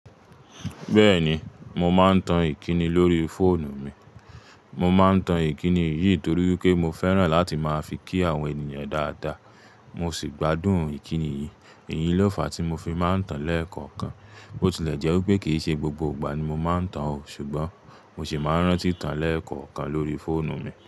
Bẹ́ẹ̀ni mo máa ń tan Ìkíni lórí fóònù mi, mo máa ń tan Ìkíni yìí torí pé mo fẹ́ràn láti máa fi kí àwọn ènìyàn dáadáa. Mo sì gbádùn Ìkíni yìí, èyí lọfà tí mo fi máa ń tan léẹ̀kọ̀ọ̀kan. Bo tilẹ̀ jẹ́ wípé kìí ṣe gbogbo ìgbà ni mo máa ń tan ò, ṣùgbọ́n mo sì máa ń rántí tan léẹ̀kọ̀ọ́kan lórí fóònù mi.